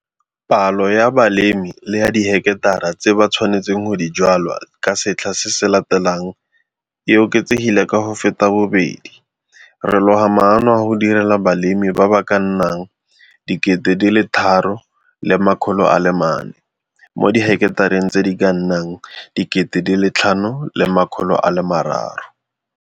Palo ya balemirui le ya diheketara tse ba tshwanetseng go di jwala ka setlha se se latelang e oketsegile ka go feta bobedi - re loga maano a go direla balemirui ba ba ka nnang 3 400 mo diheketareng tse di ka nnang 5 300.